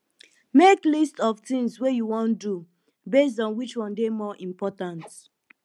make list of tins wey you wan do based on which one dey more important